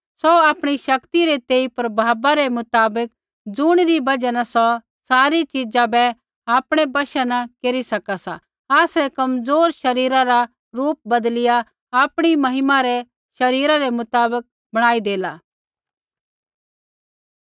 सौ आपणी शक्ति रै तेई प्रभावा रै मुताबक ज़ुणिरी बजहा न सौ सारी चिजा बै आपणै वशा न केरी सका सा आसरै कमज़ोर शरीरा रा रूप बदलिया आपणी महिमा रै शरीरा रै मुताबक बणाई देला